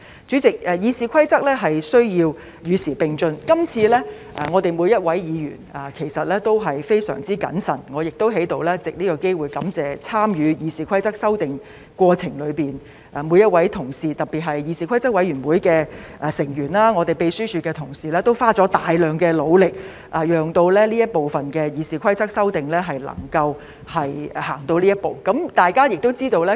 主席，《議事規則》需要與時並進，今次我們每位議員其實也相當謹慎，我亦想在此藉這個機會感謝參與《議事規則》修訂過程中的每位同事，特別是議事規則委員會的成員及秘書處的同事，他們都花了大量時間和非常努力，讓這部分的《議事規則》修訂能夠走到今天這一步。